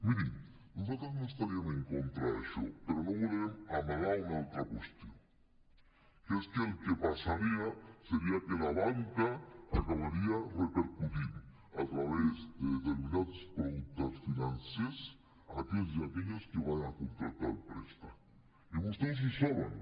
mirin nosaltres no estaríem en contra d’això però no volem amagar una altra qüestió que és que el que passaria seria que la banca ho acabaria repercutint a través de determinats productes financers a aquells i aquelles que van a contractar el préstec i vostès ho saben